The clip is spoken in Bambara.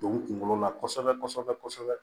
Don kunkolo la kosɛbɛ kosɛbɛ